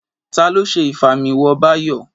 Ta ló ṣe Ìfimáwo Báyọ̀?